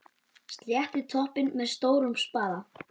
Sléttið toppinn með stórum spaða.